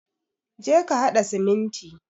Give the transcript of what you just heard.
Je ka hada siminti.